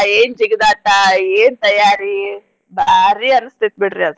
ಏನ್ ಜಿಗದಾಟ ಏನ್ ತಯಾರಿ ಬಾರೀ ಅನ್ಸ್ತೇತ್ ಬಿಡ್ರಿ ಅದ್.